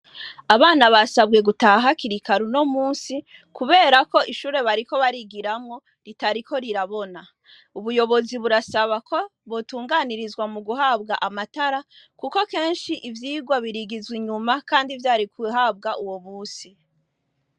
Abana basabwe gutaha kirikaru no musi, kubera ko ishure bariko barigiramwo ritariko rirabona ubuyobozi burasaba ko botunganirizwa mu guhabwa amatara, kuko kenshi ivyigwa birigizwe inyuma, kandi vyari kuhabwa uwo busi.